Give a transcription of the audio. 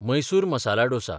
Mysore masala dosa